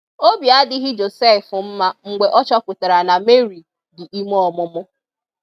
Obi adịghị Josef mma mgbe ọ chọpụtara na Mary di ime ọmụmụ.